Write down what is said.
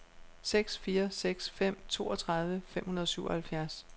seks fire seks fem toogtredive fem hundrede og syvoghalvfjerds